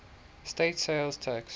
state sales tax